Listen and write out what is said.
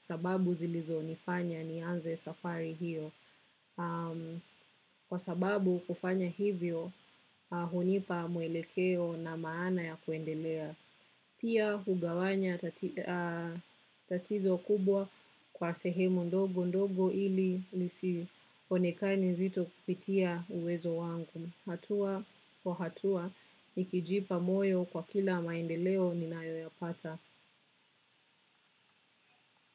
sababu zilizonifanya nianze safari hiyo. Kwa sababu kufanya hivyo, hunipa mwelekeo na maana ya kuendelea. Pia, hugawanya tatizo kubwa kwa sehemu ndogo ndogo ili lisionekane nzito kupitia uwezo wangu. Hatua kwa hatua, nikijipa moyo kwa kila maendeleo nina yoyapata.